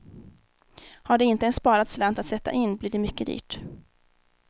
Har de inte en sparad slant att sätta in blir det mycket dyrt.